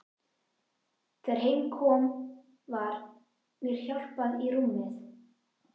Þegar heim kom var mér hjálpað í rúmið.